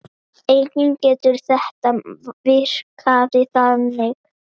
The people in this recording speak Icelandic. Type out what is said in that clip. Einnig getur þetta virkað þannig